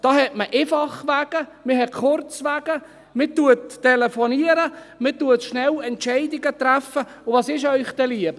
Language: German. Da hat man Einfachwege, man hat Kurzwege, man telefoniert, man trifft schnell Entscheidungen, und was ist Ihnen dann lieber: